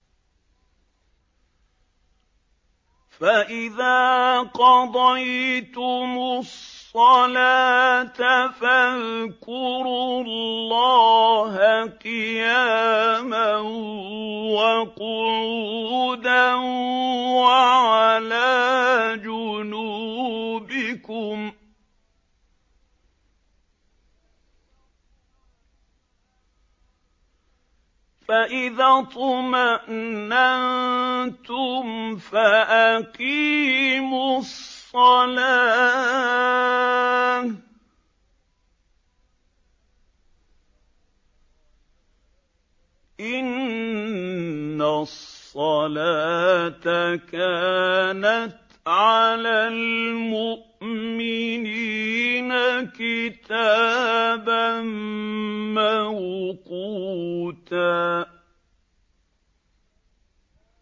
فَإِذَا قَضَيْتُمُ الصَّلَاةَ فَاذْكُرُوا اللَّهَ قِيَامًا وَقُعُودًا وَعَلَىٰ جُنُوبِكُمْ ۚ فَإِذَا اطْمَأْنَنتُمْ فَأَقِيمُوا الصَّلَاةَ ۚ إِنَّ الصَّلَاةَ كَانَتْ عَلَى الْمُؤْمِنِينَ كِتَابًا مَّوْقُوتًا